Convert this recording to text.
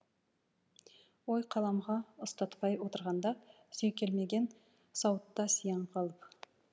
ой қаламға ұстатпай отырғанда сүйкелмеген сауытта сияң қалып